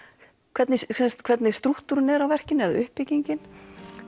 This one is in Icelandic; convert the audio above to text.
hvernig þeir hvernig strúkturinn er á verkinu eða uppbyggingin